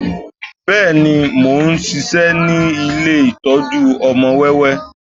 Bẹ́ẹ̀ni, mo ń ṣiṣẹ́ ní ilé ìtọ́jú ọmọ wẹ́wẹ́